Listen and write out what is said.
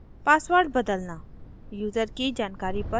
password बदलना